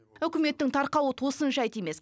үкіметтің тарқауы тосын жайт емес